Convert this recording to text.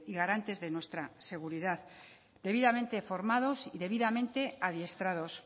garantes de nuestra seguridad debidamente formados y debidamente adiestrados